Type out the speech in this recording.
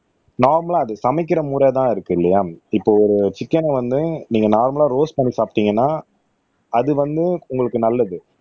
நார்மல்லா அது சமைக்கிற முறைதான் இருக்கு இல்லையா இப்போ ஒரு சிக்கன் வந்து நீங்க நார்மல்லா ரோஸ்ட் பண்ணி சாப்பிட்டீங்கன்னா அது வந்து உங்களுக்கு நல்லது